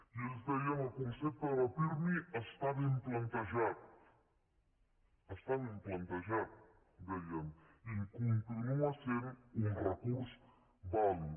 i ells deien el concepte de pirmi està ben plantejat està ben plantejat deien i continua sent un recurs vàlid